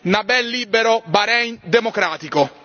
Nabeel libero, Bahrein democratico!